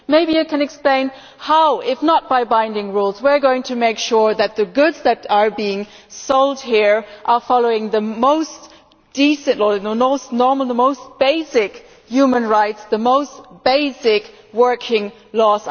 Maybe you can explain how, if not by binding rules, we are going to make sure that the goods that are being sold here are in line with the most decent, normal and basic human rights and the most basic working laws.